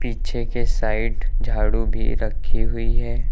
पीछे के साइड झाड़ू भी रखी हुई है।